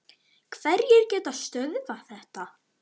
Hverjir geta stöðvað þetta?